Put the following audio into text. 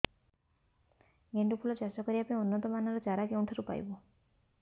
ଗେଣ୍ଡୁ ଫୁଲ ଚାଷ କରିବା ପାଇଁ ଉନ୍ନତ ମାନର ଚାରା କେଉଁଠାରୁ ପାଇବୁ